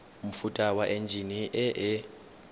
mofuta wa enjine e e